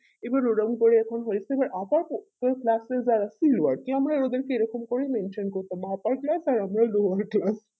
এবার ওই রকম করে এখন হয়েছে যে আমরা ওদেরকে এই রকম করে লোক জোর করতাম